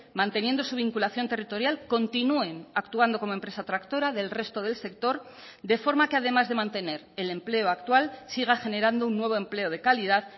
manteniendo su vinculación territorial continúen actuando como empresa tractora del resto del sector de forma que además de mantener el empleo actual siga generando un nuevo empleo de calidad